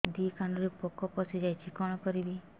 ଦିଦି କାନରେ ପୋକ ପଶିଯାଇଛି କଣ କରିଵି